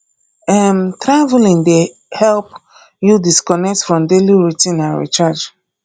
um traveling dey help you disconnect from daily routine and recharge